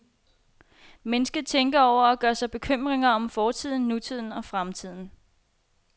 Mennesket tænker over og gør sig bekymringer om fortiden, nutiden og fremtiden.